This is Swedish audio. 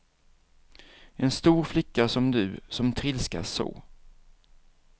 En stor flicka som du, som trilskas så.